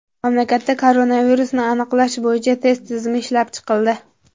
Mamlakatda koronavirusni aniqlash bo‘yicha test tizimi ishlab chiqildi.